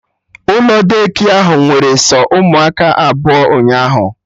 Ụlọ Daycare ahụ nwere sọ ụmụaka abụọ ụnyaahụ